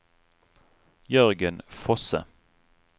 Jørgen Fosse